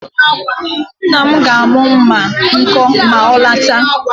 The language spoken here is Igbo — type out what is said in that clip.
Nna m ga-amụ mma a nkọ ma ọ lọta